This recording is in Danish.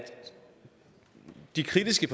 se de